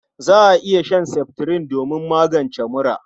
Za a iya shan seftirin domin magance mura..